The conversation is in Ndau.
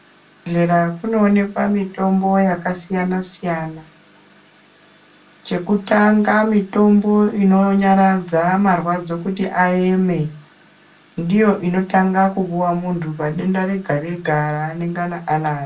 Kuzvibhedhlera kunoonekwa mitombo yakasiyana siyana .Chekutanga mitombo ininyaradza marwadzo kuti aeme , ndiyo inotanga kupuwa muntu padenda rega rega raanengana anaro.